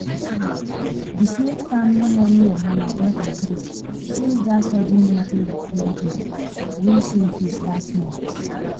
the smith family money wahala don increase since that sudden motor repair bill wey show face last month.